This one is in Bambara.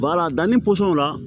danni pɔsɔnw la